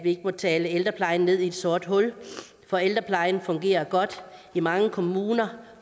ikke at tale ældreplejen ned i et sort hul for ældreplejen fungerer godt i mange kommuner